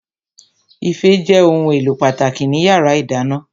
Ife jẹ́ ohun èlò pàtàkì ní yàrá ìdáná